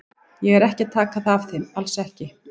Ég er ekki að taka það af þeim, alls ekki.